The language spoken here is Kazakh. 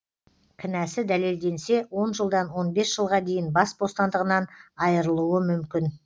кінәсі дәлелденсе он жылдан он бес жылға дейін бас бостандығынан айырылуы мүмкін